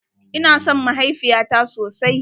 Ina son mahaifiyata sosai.